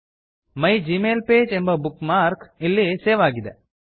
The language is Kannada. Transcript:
ಮೈಗ್ಮೈಲ್ಪಗೆ ಮೈ ಜಿಮೇಲ್ ಪೇಜ್ ಎಂಬ ಬುಕ್ ಮಾರ್ಕ್ ಇಲ್ಲಿ ಸೇವ್ ಆಗಿದೆ